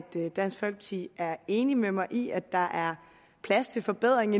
dansk folkeparti er enig med mig i at der er plads til forbedring